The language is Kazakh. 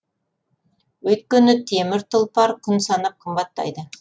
өйткені темір тұлпар күн санап қымбаттайды